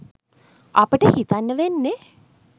අපිට හිතන්න වෙන්නෙ